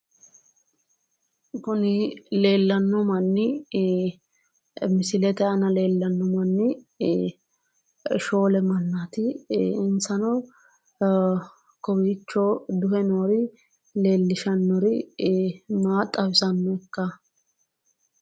Kuni leellanno manni ii misilete aana leellanno manni ii shoole mannaati insano kowiicho duhe noori leellishannori maa xawisannokka?